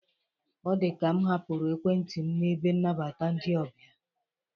Ọ dịka m hapụrụ Ekwentị m n'ebe nabata ndị ọbịa.